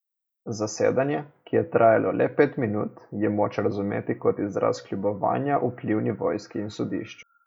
Zasedanje, ki je trajalo le pet minut, je moč razumeti kot izraz kljubovanja vplivni vojski in sodišču.